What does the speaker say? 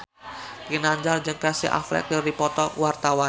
Ginanjar jeung Casey Affleck keur dipoto ku wartawan